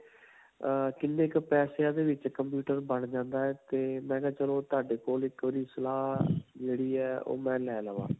ਅਅ ਕਿੰਨੇ ਕ ਪੈਸਿਆਂ ਦੇ ਵਿੱਚ computer ਬਣ ਜਾਂਦਾ ਹੈ 'ਤੇ ਮੈਂ ਕਿਹਾ ਚਲੋ ਤੁਹਾਡੇ ਕੋਲ ਇੱਕ ਵਾਰੀ ਸਲਾਹ ਜਿਹੜੀ ਹੈ. ਉਹ ਮੈਂ ਲੈ ਲਾਵਾਂ.